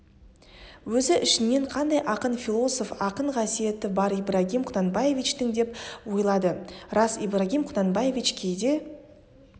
өзі ішінен қандай ақын философ ақын қасиеті бар ибрагим құнанбаевичтің деп ойлады рас ибрагим құнанбаевич кейде